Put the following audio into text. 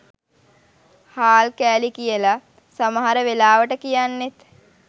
හාල් කෑලි කියල සමහර වෙලාවට කියන්නෙත්